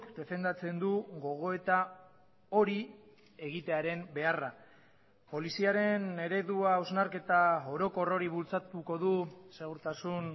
defendatzen du gogoeta hori egitearen beharra poliziaren eredua hausnarketa orokor hori bultzatuko du segurtasun